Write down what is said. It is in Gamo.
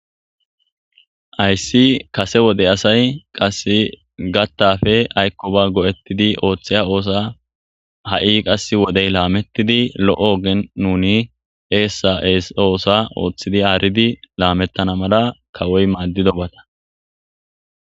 Ayssi kase wode asay qasse gattafe aykkoba go'ettidi ooththeya oosa ha'i qas wodey laamettidi lo'o ogen nuni eessa'ees oosa ooththidi aaridi laamettana mala kawoy maaddido bata.